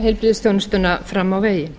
heilbrigðisþjónustuna fram á veginn